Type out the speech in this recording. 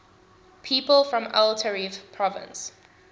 people from el taref province